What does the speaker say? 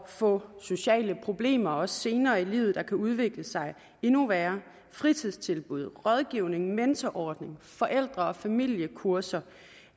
få sociale problemer også senere i livet der kan udvikle sig endnu værre fritidstilbud rådgivning mentorordning forældre og familiekurser